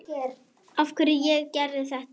Af hverju ég gerði þetta.